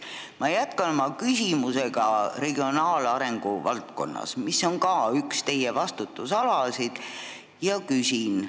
Ma jätkan oma küsimusega regionaalarengu valdkonnas, mis on ka üks teie vastutusalasid, ja küsin.